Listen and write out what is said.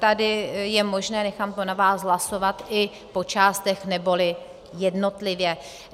Tady je možné, nechám to na vás, hlasovat i po částech, neboli jednotlivě.